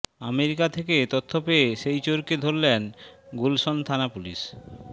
America থেকে তথ্য পেয়ে সেই চোরকে ধরে গুলশান থানাপুলিশ